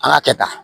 An ka kɛ tan